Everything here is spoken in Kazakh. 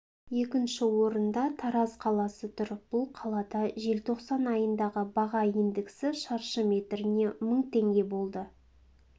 екінші орында тараз қаласы тұр бұл қалада желтоқсан айындағы баға индексі шаршы метріне мың теңге болды